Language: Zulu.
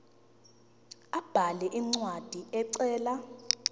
abhale incwadi ecela